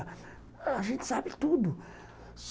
A gente sabe tudo.